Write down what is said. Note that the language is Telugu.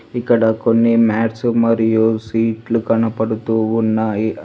ఇక్కడ కొన్ని మాట్స్ మరియు సీట్లు కనపడుతూ ఉన్నాయి.